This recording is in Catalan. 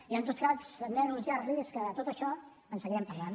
i en tot cas també anunciar los que de tot això en seguirem parlant